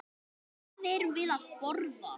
Hvað erum við að borða?